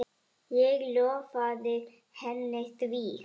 Ég lofaði henni því.